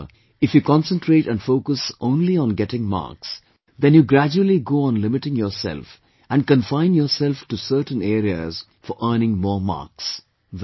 However if you concentrate and focus only on getting marks, then you gradually go on limiting yourself and confine yourself to certain areas for earning more marks